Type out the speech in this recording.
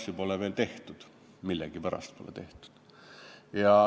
Siin pole erandeid veel millegipärast tehtud.